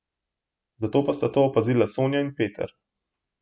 Zato pa sta to opazila Sonja in Peter.